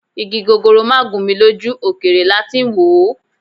Igi gogoro máà gún mi lójú, òkèèrè lati ń wòó.